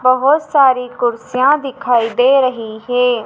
बहोत सारी कुर्सियां दिखाई दे रही है।